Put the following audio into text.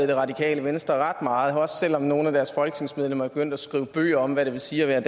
det radikale venstre ret meget også selv om nogle af deres folketingsmedlemmer er begyndt at skrive bøger om hvad det vil sige at være